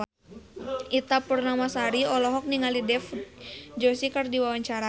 Ita Purnamasari olohok ningali Dev Joshi keur diwawancara